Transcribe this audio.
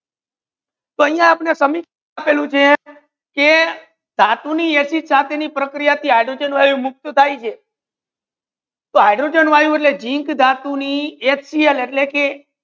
કોઈ ના આપને કમી ધાતુની acid રસાયનિક પ્રક્રિયા હૈડ્રોજેન વાયુ મુક્ત થાય છે તો હૈડ્રોજેન વાયુ એટલ કે જિંક ધાતુ ની HCL એટલે કે